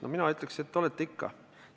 No mina ütleks, et olete ikka.